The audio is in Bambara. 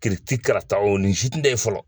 Kiiriti karata nin si tun tɛ yen fɔlɔ